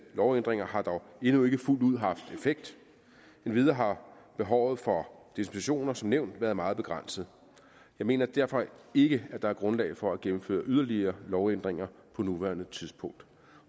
lovændringer har dog endnu ikke fuldt ud haft effekt endvidere har behovet for dispensationer som nævnt været meget begrænset jeg mener derfor ikke at der er grundlag for at gennemføre yderligere lovændringer på nuværende tidspunkt